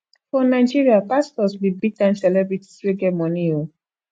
for nigeria pastors be big time celebrities wey get money oo